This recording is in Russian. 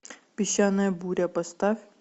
песчаная буря поставь